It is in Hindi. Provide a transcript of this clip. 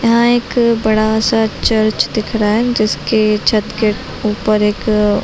यहाँ एक बड़ा सा चर्च दिख रहा है जिसके छत के ऊपर एक--